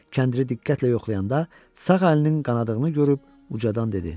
Kəndiri diqqətlə yoxlayanda sağ əlinin qanadığını görüb ucadan dedi: